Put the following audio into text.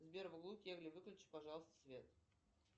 сбер выключи пожалуйста свет